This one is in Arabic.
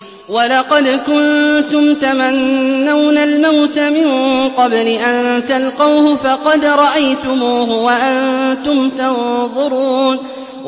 وَلَقَدْ كُنتُمْ تَمَنَّوْنَ الْمَوْتَ مِن قَبْلِ أَن تَلْقَوْهُ فَقَدْ رَأَيْتُمُوهُ وَأَنتُمْ تَنظُرُونَ